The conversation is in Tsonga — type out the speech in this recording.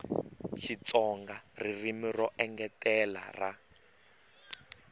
xitsonga ririmi ro engetela ra